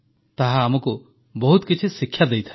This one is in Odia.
ତାହା ଆମକୁ ବହୁତ କିଛି ଶିକ୍ଷା ଦେଇଥାଏ